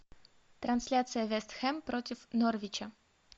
трансляция вест хэм против норвича